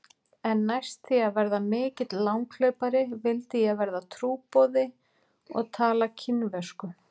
En næst því að verða mikill langhlaupari vildi ég verða trúboði og tala kínversku.